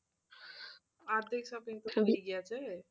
অর্ধেক shoping